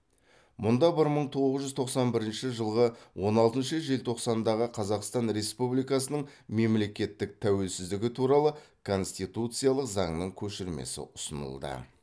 мұнда бір мың тоғыз жүз тоқсан бірінші жылғы он алтыншы желтоқсандағы қазақстан республикасының мемлекеттік тәуелсіздігі туралы конституциялық заңның көшірмесі ұсынылды